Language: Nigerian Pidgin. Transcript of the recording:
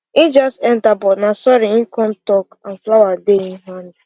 him just enter but na sorry him come talk and flower dey im hand